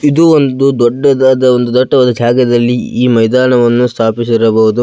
ಇದು ಒಂದು ದೊಡ್ಡದಾದ ಒಂದು ದಟ್ಟವಾದ ಜಗದಲ್ಲಿ ಈ ಮೈದಾನವನ್ನು ಸ್ಥಾಪಿಸಿರಬಹುದು.